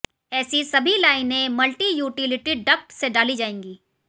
ऐसी सभी लाइनें मल्टीयूटिलिटी डक्ट से डाली जाएंगी